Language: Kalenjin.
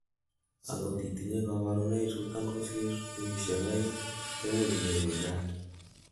angot itinyei kaborunoik chuton kosir wekisiek oeng, koimuch inyoru GERD